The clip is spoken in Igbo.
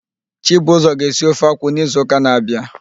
Chibuzọ ga-esi ofe akwụ n'izuụka na-abịa.